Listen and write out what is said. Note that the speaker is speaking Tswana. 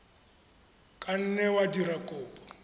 ka nne wa dira kopo